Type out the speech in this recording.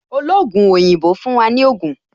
Ologun oyinbo fún wa ní Ogun